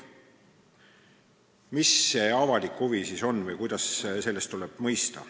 Mis see avalik huvi siis on või kuidas seda mõista tuleb?